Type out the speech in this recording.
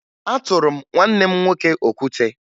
Atụrụ m nwanne m nwoke okwute